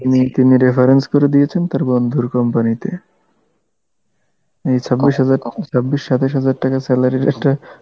তিনি তিনি reference করে দিয়েছেন তার বন্ধুর company তে, এই ছাব্বিশ হাজার, ছাব্বিশ সাতাশ হাজার টাকার salary র একটা